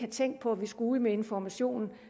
tænkt på at vi skulle ud med information